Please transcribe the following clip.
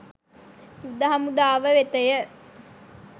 යුධ හමුදාව වෙතය